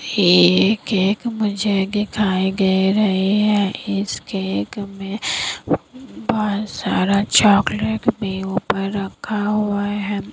ये केक मुझे दिखाई दे रही है इस केक में बहुत सारा चॉकलेट भी ऊपर रखा हुआ है।